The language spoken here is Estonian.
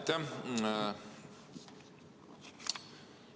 Aitäh!